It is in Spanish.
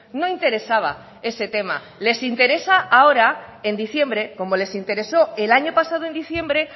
no interesaba ese tema les interesa ahora en diciembre como les intereso el año pasado en diciembre